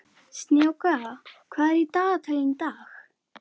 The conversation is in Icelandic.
Snjáka, hvað er í dagatalinu í dag?